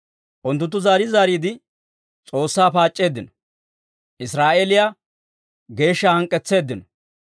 Unttunttu zaari zaariide, S'oossaa paac'c'eeddino; Israa'eeliyaa Geeshshaa hank'k'etseeddino.